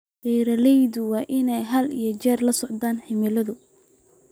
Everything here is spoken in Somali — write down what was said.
Beeralayda waa in ay had iyo jeer la socdaan cimilada.